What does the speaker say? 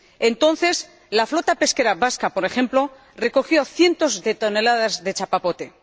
Entonces la flota pesquera vasca, por ejemplo, recogió cientos de toneladas de chapapote.